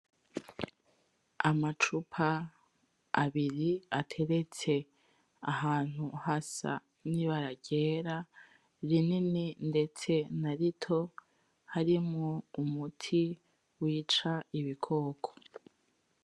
Amacupa abiri ateretse ahantu hasa n'ibara ryera rinini ndetse Narito harimwo umuti wica ibikoko.